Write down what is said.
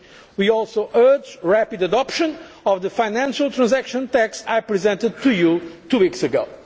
year. We also urge rapid adoption of the financial transaction tax I presented to you two weeks